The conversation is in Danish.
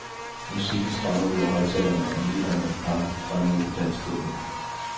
Musikken strømmer ud af højttalerne, og midaldrende par strømmer ud på dansegulvet.